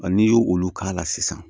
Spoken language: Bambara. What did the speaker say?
n'i y'olu k'a la sisan